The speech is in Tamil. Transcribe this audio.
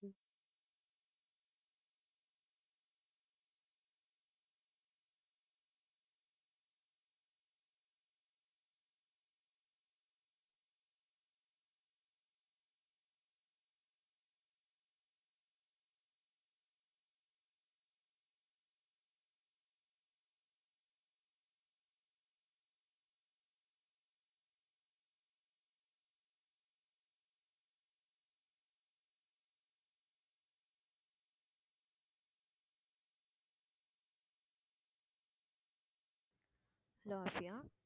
hello ஆஃபியா